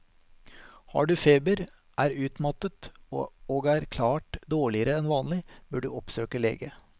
Har du feber, er utmattet og er klart dårligere enn vanlig, bør du oppsøke lege.